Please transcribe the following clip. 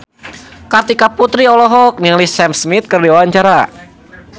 Kartika Putri olohok ningali Sam Smith keur diwawancara